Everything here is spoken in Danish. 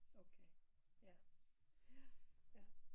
Okay ja ja jaer